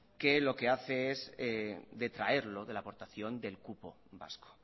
que lo que hace es detraerlo de la aportación del cupo vasco